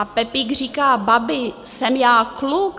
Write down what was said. A Pepík říká, babi, jsem já kluk?